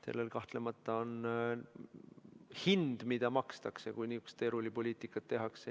Sellel on kahtlemata hind, mida makstakse, kui niisugust teerullipoliitikat tehakse.